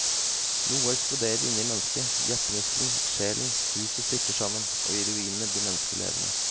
Noe eksploderer inne i mennesket, hjertemuskelen, sjelen, huset styrter sammen, og i ruinene blir mennesket levende.